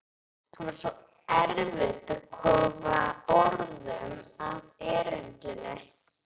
Það var svo erfitt að koma orðum að erindinu.